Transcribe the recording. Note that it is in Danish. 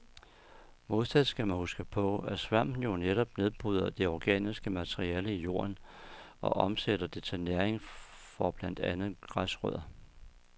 Modsat skal man huske på, at svampen jo netop nedbryder det organiske materiale i jorden og omsætter det til næring for blandt andet græsrødder.